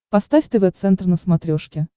поставь тв центр на смотрешке